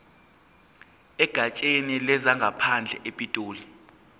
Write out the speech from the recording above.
egatsheni lezangaphandle epitoli